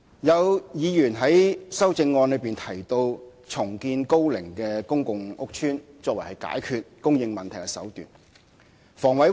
有議員在修正案中提到重建樓齡高的公共屋邨，作為解決供應問題的手段。